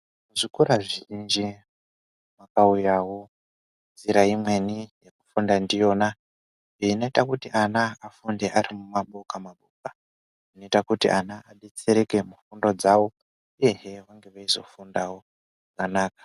Zvikora zvizhinji kwakauyawo njira imweni yokufunda ndiyona inoita kuti ana afunde ari mumaboka maboka inoita kuti ana abetsereke mufundo dzavo uye hee eyizofundawo zvakanaka.